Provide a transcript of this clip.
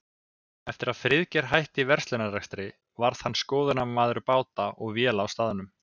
Eftir að Friðgeir hætti verslunarrekstri varð hann skoðunarmaður báta og véla á staðnum.